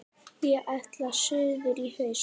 Ég ætla suður í haust.